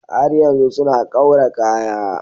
Har yanzu suna kaura kaya.